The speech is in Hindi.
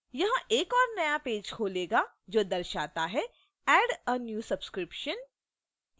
यह एक और नया पेज खोलेगा जो दर्शाता है add a new subscription 1/2